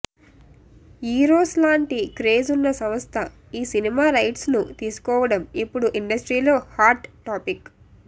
Eros లాంటి craze ఉన్న సంస్థ ఈ సినిమా రైట్స్ ను తీసుకోవడం ఇప్పుడు ఇండస్ట్రీలో హాట్ టాపిక్